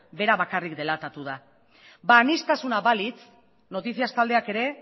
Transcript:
bera bakarrik delatatu da ba aniztasuna balitz noticias taldeak ere